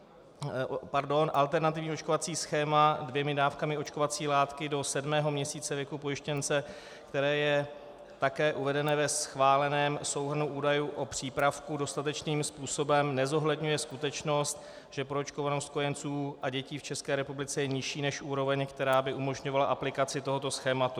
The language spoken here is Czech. Alternativní očkovací schéma dvěma dávkami očkovací látky do sedmého měsíce věku pojištěnce, které je také uvedené ve schváleném souhrnu údajů o přípravku, dostatečným způsobem nezohledňuje skutečnost, že proočkovanost kojenců a dětí v České republice je nižší než úroveň, která by umožňovala aplikaci tohoto schématu.